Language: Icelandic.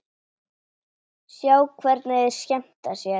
Sjá hvernig þeir skemmta sér.